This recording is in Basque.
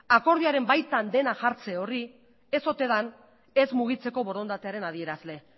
akordioaren baitan dena jartze horri ez ote den ez mugitzeko borondatearen adierazle